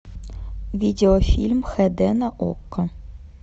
видеофильм хд на окко